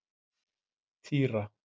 Týra